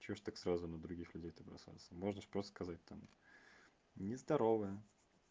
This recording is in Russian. что же так сразу на других люде-то бросаться можно же просто сказать там не здоровая